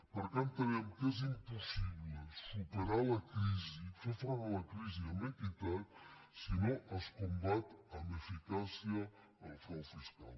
perquè entenem que és impos·sible superar la crisi fer front a la crisi amb equitat si no es combat amb eficàcia el frau fiscal